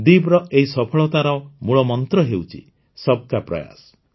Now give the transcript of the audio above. ଦୀବ୍ର ଏହି ସଫଳତାର ମୂଳମନ୍ତ୍ର ହେଉଛି ସବକା ପ୍ରୟାସ